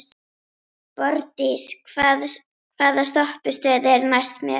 Borgdís, hvaða stoppistöð er næst mér?